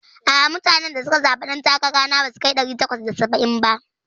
A'a, mutanen da suka zaɓe ɗan takara na basu kai ɗari takwas da saba'in ba.